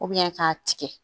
k'a tigɛ